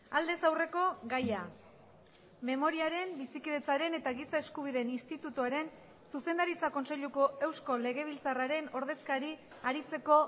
aldez aurreko gaia memoriaren bizikidetzaren eta giza eskubideen institutuaren zuzendaritza kontseiluko eusko legebiltzarraren ordezkari aritzeko